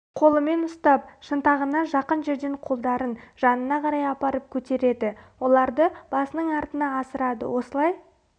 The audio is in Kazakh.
қолымен ұстап шынтағына жақын жерден қолдарын жанына қарай апарып көтереді оларды басының артына асырады осылай